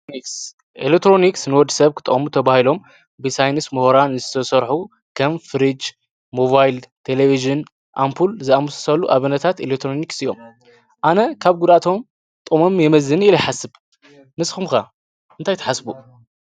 ኤሌክትሮኒክስ ንወዲ ስብ ክጠቅሙ ኢዮም ተባሂሎም ብ ሳይንቲስ ምሁራን ዝሰርሑ ከም ፍሪጅ ሞባይል ቲቪ አምፖል ዝአመሰሉ ኤሌትሮኒክስ እዮም አነ ካብ ጉድአቱ ጥቅሙ የመዝን ኢለ ይሓስብ ንስኩምከ